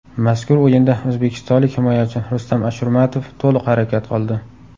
Mazkur o‘yinda o‘zbekistonlik himoyachi Rustam Ashurmatov to‘liq harakat qildi.